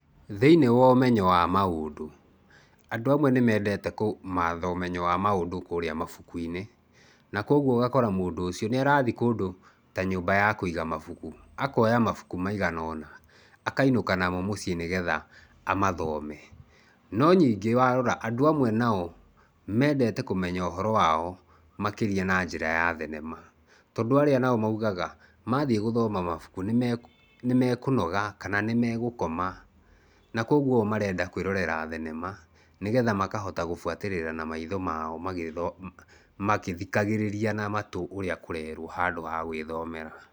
Thĩiniĩ wa ũmenyo wa maũndũ, andũ amwe nĩ mendete kũmatha ũmenyo wa maũndũ kũrĩa mabuku-inĩ, na kũoguo ũgakora mũndũ ũcio nĩ arathiĩ ta nyũmba ya kũiga mabuku, akoya mabuku maigana ona akainũka namo mũciĩ nĩgetha amathome. No ningĩ warora, andũ amwe nao mendete kũmenya ũhoro wao makĩria nanjĩra ya thenema, tondũ arĩa maugaga mathiĩ gũthoma mabuku, nĩ mekũnoga kana nĩmegũkoma na kwoguo o marenda kwĩrorera thenema, nĩgetha makahota gũbuatĩrĩra na maitho mao magĩthikagĩrĩria na matũ ũrĩa kũrerwo handũ ha gwĩthomera.